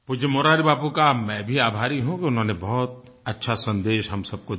पूज्य मुरारी बापू का मैं भी आभारी हूँ कि उन्होंने बहुत अच्छा सन्देश हम सबको दिया